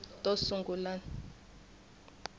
to sungula ti ta va